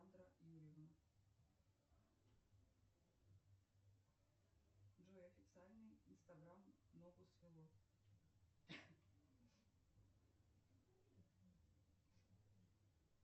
джой официальный инстаграм ногу свело